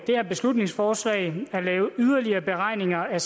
her beslutningsforslag at lave yderligere beregninger af